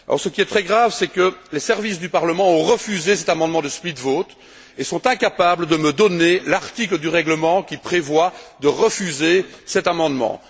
Or, ce qui est très grave, c'est que les services du Parlement ont refusé cet amendement de split vote et sont incapables de me donner l'article du règlement qui prévoit de refuser cet amendement.